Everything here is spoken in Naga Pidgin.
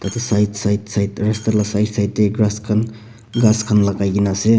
etu side side side rasta lah side side teh grass khan ghas ghas khan lagai ke na ase.